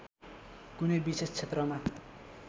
कुनै विशेष क्षेत्रमा